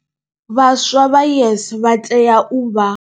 Vhaswa vha YES vha tea u vha.